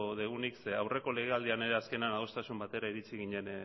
dugunik zeren eta aurreko legealdian ere azkenean adostasun batera iritsi ginen